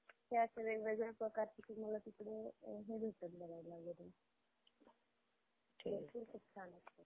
ज्यांनी shares विकत घेत~ घेतलेत किंवा ज्यांनी त्याच्यामध्ये invest केले ज्या लोकांनी, ते investor सगळ्यात महत्वाचे आहेत मला असं वाटतं. त्यामुळं